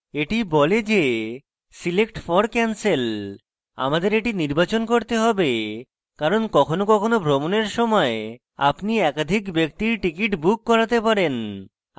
the বলে the select for cancel আমাদের the নির্বাচন করতে have কারণ কখনো কখনো ভ্রমণের সময় আপনি একাধিক ব্যক্তির ticket book করাতে person